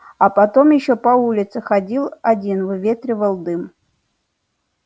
а потом ещё по улице ходил один выветривал дым